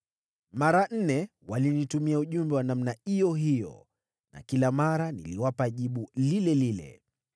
Mara nne walinitumia ujumbe wa namna iyo hiyo, na kila mara niliwapa jibu lile lile.